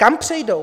Kam přejdou?